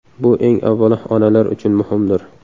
Bu eng avvalo onalar uchun muhimdir.